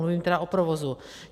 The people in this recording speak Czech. Mluvím tedy o provozu.